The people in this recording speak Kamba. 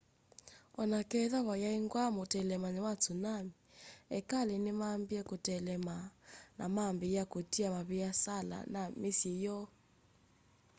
oneketha vayaingwa mutelemanyo wa tsunami ekali nimambie kuteelema na mambiia kutia maviasala na misyi yoo